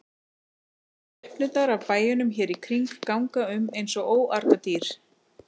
Skepnurnar af bæjunum hér í kring ganga um eins og óargadýr.